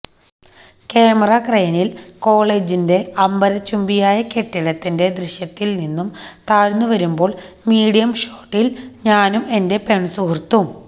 camera ക്രെയിനില് കോളേജിന്റെ അംബരചുബിയായ കെട്ടിടത്തിന്റെ ദൃശ്യത്തില് നിന്നും താഴ്ന്നു വരുമ്പോള് മീഡിയം ഷോട്ടില് ഞാനും എന്റെ പെണ്സുഹൃത്തും